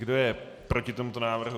Kdo je proti tomuto návrhu?